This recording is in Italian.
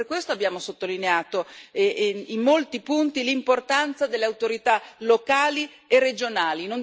Proprio per questo abbiamo sottolineato, in molti punti, l'importanza delle autorità locali e regionali.